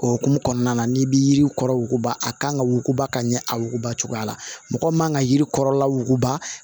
Okumu kɔnɔna na n'i bɛ yiri kɔrɔ wuguba a kan ka wuguba ka ɲɛ a wuguba cogoya la mɔgɔ man ka yirikɔrɔla wuguba